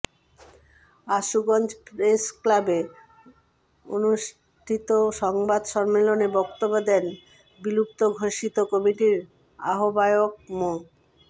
Ashuganj press ক্লাবে অনুষ্ঠিত সংবাদ সম্মেলনে বক্তব্য দেন বিলুপ্ত ঘোষিত কমিটির আহ্বায়ক মো